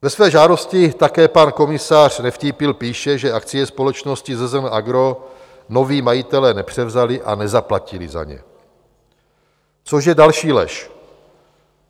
Ve své žádosti také pan komisař Nevtípil píše, že akcie společnosti ZZN AGRO noví majitelé nepřevzali a nezaplatili za ně, což je další lež.